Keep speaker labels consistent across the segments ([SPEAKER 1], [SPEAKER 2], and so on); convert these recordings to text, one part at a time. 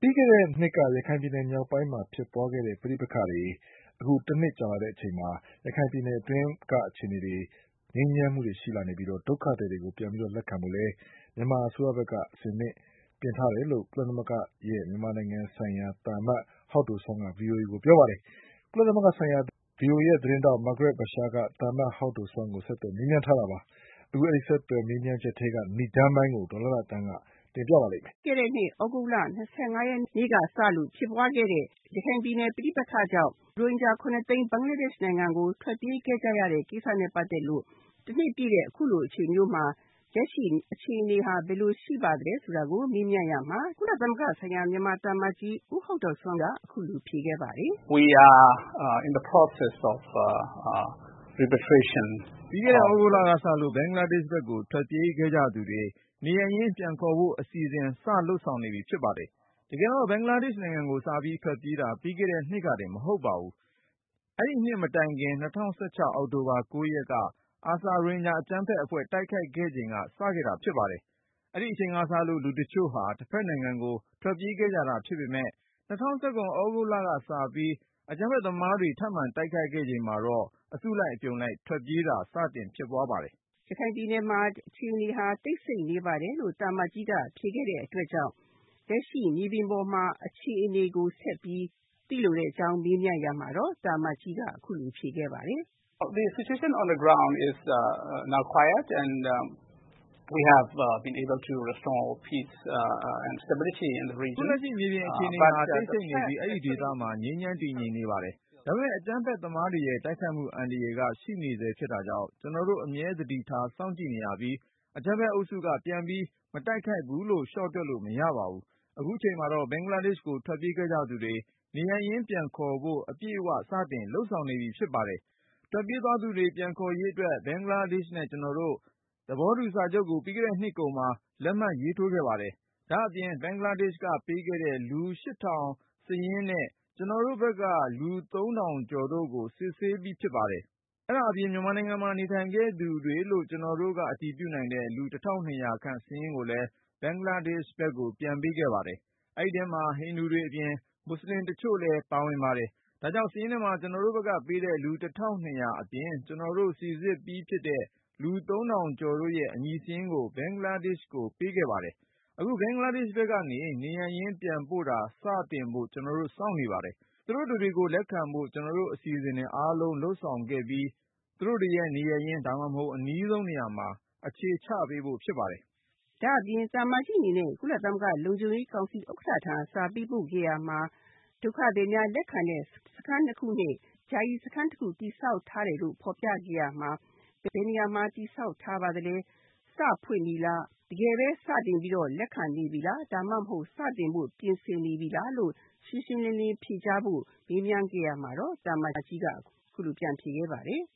[SPEAKER 1] ပြီးခဲ့တဲ့နှစ်က ရခိုင်ပြည်နယ်မြောက်ပိုင်းမှာဖြစ်ခဲ့တဲ့ ပဋိပက္ခတွေ အခုတနှစ်ကြာလာတဲ့အချိန်မှာ ရခိုင်ပြည်နယ်အတွင်းကအခြေအနေတွေ ငြိမ်းချမ်းမှုတွေရှိလာနေပြီးတော့ ဒုက္ခသည်တွေကို ပြန်ပြီးတော့ လက်ခံဖို့လည်း မြန်မာအစိုးရဘက်က အဆင်သင့်ပြင်ထားတယ်လို့ ကုလသမဂ္ဂ ဆိုင်ရာ မြန်မာနိုင်ငံဆိုင်ရာသံအမတ် ဦးဟောက်ဒိုစွမ်း က VOA ကိုပြောပါတယ်။ ကုလသမဂ္ဂဆိုင်ရာ VOA သတင်းထောက် မာဂရက်ဘာရှာက သံအမတ် ဦးဟောက်ဒိုစွမ်းကို ဆက်သွယ်မေးမြန်းထားတာပါ ။ အဲဒီဆက်သွယ်ချက်ထဲက နိဒါန်းပိုင်းကို ဒေါ်လှလှသန်းက တင်ပြပါလိမ့်မယ
[SPEAKER 2] ်။ ပြီးခဲ့တဲ့ နှစ် သြဂုတ်လ ၂၅ ရက်နေ့က စလို့ဖြစ်ပွားခဲ့တဲ့ ရခိုင်ပြည်နယ် ပဋိပက္ခကြောင့် ရိုဟင်ဂျာ ၇ သိန်း ဘင်္ဂလားဒေ့ရှ်နိုင်ငံကို ထွက်ပြေးခဲ့ရတဲ့ ကိစ္စနဲ့ ပတ်သက်လို့ ၁ နှစ်ပြည့်တဲ့ အခုလိုအချိန်မျိုးမှာ လက်ရှိအခြေအနေဟာ ဘယ်လိုရှိပါသလဲဆိုတာကို မေးမြန်းရာမှာ ကုလသမဂ္ဂ မြန်မာနိုင်ငံဆိုင်ရာသံအမတ်ကြီး ဦးဟောက်ဒိုစွမ်းက အခုလိုဖြေခဲ့ပါတယ်။
[SPEAKER 1] "ပြီးခဲ့တဲ့ သြဂုတ်လကစလို့ ဘင်္ဂလားဒေ့ရှ်ဘက်ကို ထွက်ပြေးခဲ့ကြသူတွေ နေရပ်ရင်းပြန်ခေါ်ဖို့ အစီအစဉ် စတင်လုပ်ဆောင် နေပြီဖြစ်ပါတယ်။ တကယ်တော့ ဘင်္ဂလားဒေ့ရှ်နိုင်ငံကို စပြီးထွက်ပြေးတာ ပြီးခဲ့တဲ့နှစ်ကတင် မဟုတ်ပါဘူ။ အဲဒီနှစ် မတိုင်ခင် ၂၀၁၆ အောက်တိုဘာ ၉ရက်က ARSA ရိုဟင်ဂျာအကြမ်းဖက်အဖွဲ့ တိုက်ခိုက်ခဲ့ချိန်က စခဲ့တာဖြစ်ပါတယ်။ အဲဒီအချိန်ကစလို့ လူတချု့ိဟာ တဘက်နိုင်ငံကို ထွက်ပြေးခဲ့ကြတာဖြစ်ပေမယ့် ၂၀၁၇ သြဂုတ်လကစပြီး အကြမ်းဖက် သမားတွေ ထပ်မံတိုက်ခိုက်ခဲ့ချိန်မှာတော့ အစုလိုက်အပြုံလိုက် ထွက်ပြေးမှု စတင်ဖြစ်ပွားခဲ့တာပါ
[SPEAKER 2] ။" ရခိုင်ပြည်နယ်မှာ အခြေအနေဟာ တိတ်ဆိတ်နေပါတယ် လို့ သံအမတ်ကြီးက ဖြေခဲ့တဲ့အတွက်ကြောင့် လက်ရှိ မြေပြင်အခြေအနေကိုဆက်ပြီး သိလိုကြောင်းမေးမြန်းရာမှာတော့သံအမတ်ကြီး က အခုလိုဖြေခဲ့ပါတယ်။ "
[SPEAKER 1] အခုလက်ရှိ မြေပြင်အခြေအနေဟာ တိတ်ဆိတ်နေပြီး အဲဒီဒေသမှာ ငြိမ်းချမ်းတည်ငြိမ်နေပါတယ်။ ဒါပေမဲ့ အကြမ်းဖက်သမား တွေရဲ့တိုက်ခိုက်မှုအန္တရာယ်က ရှိနေဆဲဖြစ်တာကြောင့် ကျနော်တို့ အမြဲသတိထား စောင့်ကြည့်နေရပြီး အကြမ်းဖက် အုပ်စုက ပြန်ပြီး မတိုက်ခိုက်ဘူးလို့ လျှော့တွက်လို့ မရပါဘူး။ အခုချိန်မှာတော့ ဘင်္ဂလားဒေ့ရှ်ဘက်ကို ထွက်ပြေးခဲ့ကြသူတွေ နေရပ်ရင်း ပြန်ခေါ်ဖို့ အပြည့်အဝ စတင်လုပ်ဆောင်နေပြီဖြစ်ပါတယ်။ ထွက်ပြေးသွားသူတွေ ပြန်ခေါ်ရေးအတွက် ဘင်္ဂလားဒေ့ရှ်နဲ့ ကျနော်တို့ သဘောတူစာချုပ်ကို ပြီးခဲ့တဲ့နှစ်ကုန်မှာ လက်မှတ်ရေးထိုးခဲ့ပါတယ်။ ဒါ့အပြင် ဘင်္ဂလားဒေ့ရှ်က ပေးခဲ့တဲ့ လူ စာရင်းနဲ့ ကျနော်တို့ဘက်က လူ ထောင်ကျော်တို့ကို စိစစ်ပြီးဖြစ် ပါတယ်။ အဲဒါအပြင် မြန်မာနိုင်ငံမှာ နေထိုင်ခဲ့သူတွေလို့ ကျနောတို့က အတည်ပြုနိုင်တဲ့ လူ ခန့် စာရင်း ကိုလည်း ဘင်္ဂလားဒေ့ရှ်ဘက်ကို ပေးခဲ့ပါတယ်။ အဲဒီထဲမှာ ဟိနူတွေအပြင် မူဆလင်တချို့လည်းပါဝင်ပါတယ်။ ဒါကြောင့် စာရင်းထဲမှာ ကျနော်တို့ဘက်ကပေးတဲ့ လူ အပြင် ကျနော်တို့ စိစစ်ပြီးဖြစ်တဲ့ လူ ထောင်ကျော်တို့ရဲ့ အမည်စာရင်းကို ဘင်္ဂလားဒေ့ရှ်ကို ပေးခဲ့ပါတယ်။ အခု ဘင်္ဂလားဒေ့ရှ် ဘက်ကနေ နေရပ်ရင်း ပြန်ပို့တာ စတင်ဖို့ ကျနော်တို့ စောင့်နေပါတယ်။ သူတို့တတွေကို လက်ခံဖို့ ကျနော်တို့ အစီအစဉ်တွေအားလုံး လုပ်ဆောင်ခဲ့ပြီး သူတို့တွေရဲ့ နေရပ်ရင်း ဒါမှမဟုတ် အနီးဆုံးနေရာမှာ အခြေ
[SPEAKER 2] ချပေးဖို့ဖြစ်ပါတယ်။" ဒါ့အပြင် သံအမတ်ကြီးအနေနဲ့ ကုလသမဂ္ဂ လုံခြုံရေးကောင်စီဥက္ကဋ္ဌထံ စာပေးပို့ခဲ့ရာမှာ ဒုက္ခသည်များလက်ခံတဲ့ စခန်း၂ ခုနဲ့ ယာယီသခန်းတခု တည်ဆောက်ထားတယ်လို့ ဖော်ပြခဲ့ရာမှာ ဘယ်နေရာမှာ တည်ဆောက်ထားပါသလဲ ၊ စဖွင့်ပြီလား တကယ်ပဲ စတင်ပြီးတော့ လက်ခံနေပြီလား ၊ ဒါမှမဟုတ် စတင်ဖို့ ပြင်ဆင်နေပြီလားလို့ ရှင်းရှင်းလင်းလင်းဖြေကြားဖို့ မေးမြန်းခဲ့ရမှာတော့ သံအမတ်ကြီးက အခုလိုပြန်ဖြေခဲ့ပါတယ်။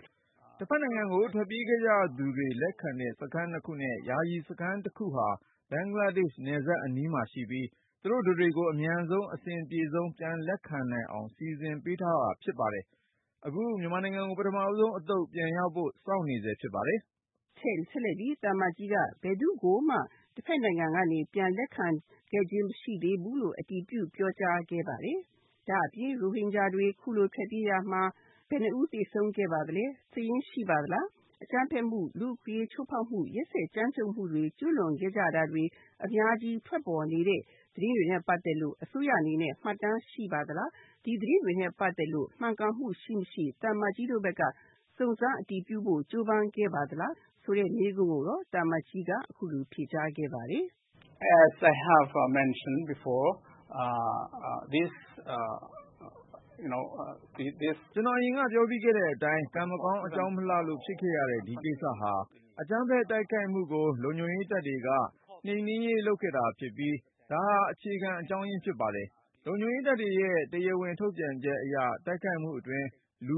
[SPEAKER 1] "တဖက်နိုင်ငံကို ထွက်ပြေးခဲ့ကြသူတွေ လက်ခံတဲ့ စခန်း၂ခုနဲ့ ယာယီစခန်း တခုဟာ ဘင်္ဂလာဒေ့ရှ် နယ်စပ်အနီးမှာရှိပြီး သူတို့ တတွေကို အမြန်ဆုံးနဲ့ အဆင်အပြေဆုံး ပြန်လက်ခံနိုင်အောင် စီစဉ်ပေးထားတာ ဖြစ်ပါတယ်။ အခု မြန်မာနိုင်ငံကို ပထမဦးဆုံး အသုတ် ပြန်ရောက်ဖို့ စောင့်နေဆဲဖြစ်ပါတယ်
[SPEAKER 2] ။" ဆက်လက်ပြီး သံအမတ်ကြီးက ဘယ်သူ့ကို တဖက်နိုင်ငံ ကနေ ပြန်လက်ခံခဲ့ခြင်းမရှိသေးဘူးလို့ အတည်ပြုပြောကြားခဲ့ပါတယ်။ ဒါ့အပြင် ရိုဟင်ဂျာတွေ အခုလိုထွက်ပြေးရာမှာ ဘယ်နှစ်ဦးသေဆုံးခဲ့ပါသလဲ၊ စာရင်းရှိပါသလား၊ အကြမ်းဖက်မှု လူ့အခွင့်အရေးချိုးဖောက်မှု ၊ ရက်စက်ကြမ်းကြုတ်မှု တွေ ကျူးလွန်ခဲ့တာတွေ အများကြီးထွက်ပေါ်နေတဲ့သတင်းတွေနဲ့ ပတ်သက်လို့ အစိုးရအနေနဲ့ မှတ်တမ်းရှိပါသလား ၊ ဒီသတင်းတွေနဲ့ ပတ်သက်လို့ မှန်ကန်မှုရှိမရှိ၊ သံအမတ်ကြီးတို့ဘက်က စုံစမ်းအတည်ပြုကြိုးပမ်းခဲ့ပါသလားဆိုတဲ့ မေးခွန်းကိုတော့ သံအမတ်ကြီးက အခုလိုပြန်ဖြေခဲ့ပါတယ်။ "
[SPEAKER 1] ကျနော်အရင်က ပြောခဲ့ပြီးဖြစ်တဲ့အတိုင်း ကံမကောင်း အကြောင်းမလှလို့ ဖြစ်ခဲ့ရတဲ့ ဒီကိစ္စဟာ အကြမ်းဖက် တိုက်ခိုက်မှုကို လုံခြုံရေးတပ်တွေက အကြမ်းဖက်မှုနှိမ်နင်းရေး လုပ်ခဲ့တာဖြစ်ပြီး၊ ဒါဟာ အခြေခံအကြောင်းရင်းဖြစ်ပါတယ်။ လုံခြုံရေးတပ်တွေရဲ့ တရားဝင် ထုတ်ပြန်ချက်အရ တိုက်ခိုက်မှုအတွင်း လူ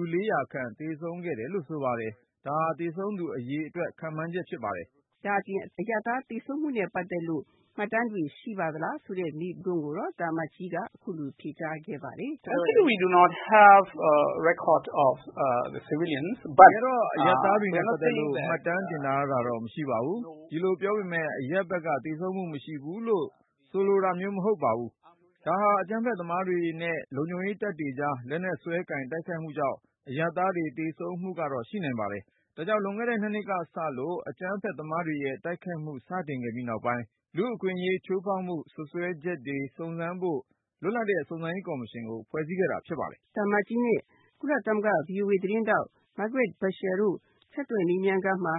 [SPEAKER 1] ခန့် သေဆုံးခဲ့တယ်လို့ ဆိုပါတယ်။ ဒါဟာ သေဆုံးသူအရေအတွက် ခန့်မှန်းချက်ပါ၊
[SPEAKER 2] " ဒါ့အပြင် အရပ်သားသေဆုံးမှုနဲ့ ပတ်သက်လို့ မှတ်တမ်းတွေရှိပါသလားဆိုတဲ့မေးခွန်းကိုတော့ သံအမတ်ကြီးက အခုလိုဖြေကြားခဲ့ပါတယ်။ "တက
[SPEAKER 1] ယ်တော့ အရပ်သားတွေနဲ့ပတ်သက်လို့ မှတ်တမ်းတင်ထားတာတော့ မရှိပါဘူး ။ ဒီလိုပြောပေမယ့် အရပ်ဘက်က သေဆုံးမှုမရှိဘူးလို့တော့ မဆိုလိုပါဘူး ၊ ဒါဟာ အကြမ်းဖက်သမားတွေနဲ့ လုံခြုံရေးတပ်တွေကြား လက်နက်စွဲကိုင် တိုက်ခိုက်မှုကြောင့် အရပ်သားတွေ သေဆုံးမှုကတော့ ရှိနိုင်ပါတယ်။ ဒါကြောင့် လွန်ခဲ့တဲ့ ၂နှစ်ကစလို့ အကြမ်းဖက်သမားတွေရဲ့ တိုက်ခိုက်မှု စတင်ခဲ့ပြီးနောက်ပိုင်း လူ့အခွင့်အရေးချိုးဖေါက်မှု စွပ်စွဲချက်တွေ စုံစမ်းဖို့ လွတ်လပ်တဲ့ စုံစမ်းရေးကော်မရှင်ကို ဖွဲ့ခဲ့တာ ဖြစ်ပါတယ်
[SPEAKER 2] ။" သံအမတ်ကြီးနဲ့ ကုလသမဂ္ဂဆိုင်ရာ VOA သတင်းထောက် မာဂရက်ဘာရှာတို့ ဆက်သွယ်မေးမြန်းခန်းမှာ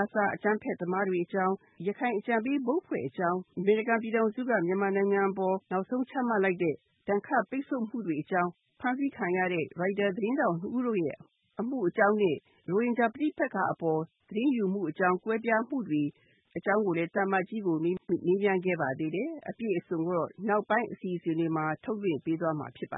[SPEAKER 2] ARSA အကြမ်းဖက်သမားတွေ အကြောင်း ၊ ရခိုင်အကြံပေးအဖွဲ့တွေအကြာင်း၊ အမေရိကန်ပြည်ထောင်စုက မြန်မာနိုင်ငံအပေါ် နောက်ဆုံးချမှတ်လိုက်တဲ့ ဒဏ်ခတ်မှုတွေအကြောင်း ၊ ဖမ်းဆီးခံရတဲ့ ရိုက်တာသတင်းထောက် ၂ ဦးတို့ အမှုအကြောင်းနဲ့ ရိုဟင်ဂျာပဋိပက္ခအပေါ် သတင်းယူမှုအကြောင်း၊ ကွဲပြားမှုတွေအကြောင်းကိုလည်း သံအမတ်ကြီးကို မေးမြန်းခဲ့ပါတယ်။ အပြည့်အစုံကိုတော့ နောက်ပိုင်းအစီအစဉ်မှာ ထုတ်လွှင့်ပေးသွားမှာဖြစ်ပါ